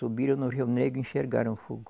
Subiram no Rio Negro e enxergaram o fogo.